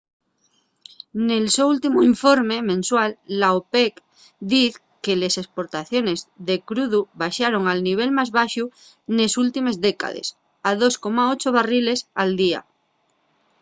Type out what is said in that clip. nel so últimu informe mensual la opec diz que les esportaciones de crudu baxaron al nivel más baxu nes últimes décades a 2,8 barriles al día